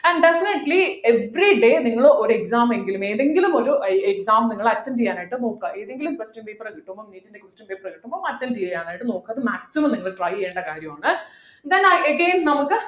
and definitely everyday നിങ്ങൾ ഒരു exam എങ്കിലും ഏതെങ്കിലും ഒര exam നിങ്ങൾ attend ചെയ്യാൻ ആയിട്ട് നോക്കുക ഏതെങ്കിലും question paper കിട്ടുമോ attend ചെയ്യാനായിട്ട് നോക്കുക അത് maximum try ചെയ്യേണ്ട കാര്യമാണ് then i again നമുക്